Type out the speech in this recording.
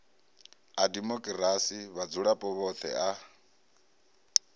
a demokirasi vhadzulapo vhoṱhe a